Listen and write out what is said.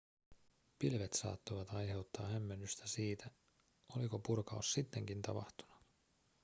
pilvet saattoivat aiheuttaa hämmennystä siitä oliko purkaus sittenkin tapahtunut